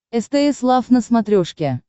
стс лав на смотрешке